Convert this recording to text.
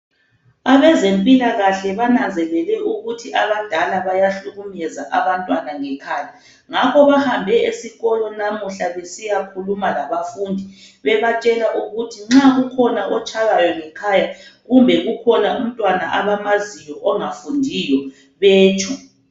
Abezempilakahle bananzelele ukuthi abadala bayahlukumeza abantwana ngekhaya ngakho bahambe esikolo namuhla besiya khuluma labafundi bebatshela ukuthi nxa kukhona otshaywayo ngekhaya kumbe kukhona umntwana abamaziyo ongafundiyo betsho.